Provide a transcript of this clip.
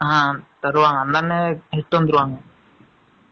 ஆ, தருவாங்க. அந்த அண்ணன், next வந்துருவாங்க